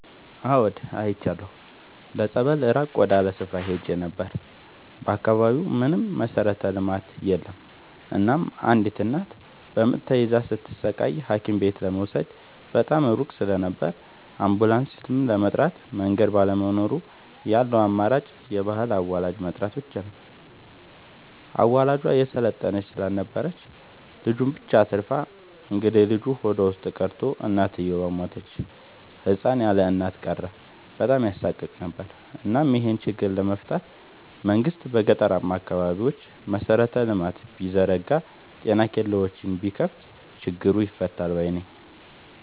አዎድ አይቻለሁ ለፀበል ራቅ ወዳለ ስፍራ ሄጄ ነበር። በአካባቢው ምንም መሠረተ ልማት የለም እናም አንዲት እናት በምጥ ተይዛ ስትሰቃይ ሀኪምቤት ለመውሰድ በጣም ሩቅ ስለነበር አንቡላስም ለመጥራት መንገድ ባለመኖሩ ያለው አማራጭ የባህል አዋላጅ መጥራት ብቻ ነበር። አዋላጇ የሰለጠነች ስላልነበረች ልጁን ብቻ አትርፋ እንግዴልጁ ሆዷ ውስጥ ቀርቶ እናትየው ሞተች ህፃን ያለእናት ቀረ በጣም ያሳቅቅ ነበር እናም ይሄን ችግር ለመፍታት መንግስት በገጠራማ አካባቢዎች መሰረተ ልማት ቢዘረጋ ጤና ኬላዎችን ቢከፋት ችግሩ ይፈታል ባይነኝ።